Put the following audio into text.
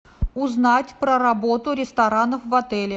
узнать про работу ресторанов в отеле